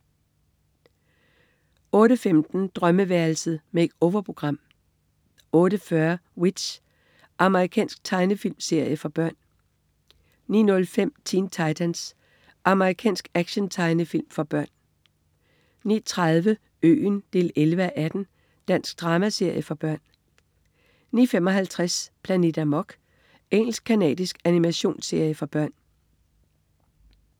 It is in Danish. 08.15 Drømmeværelset. Make-over-program 08.40 W.i.t.c.h. Amerikansk tegnefilmserie for børn 09.05 Teen Titans. Amerikansk actiontegnefilm for børn 09.30 Øen 11:18. Dansk dramaserie for børn 09.55 Planet Amok. Engelsk-canadisk animationsserie for børn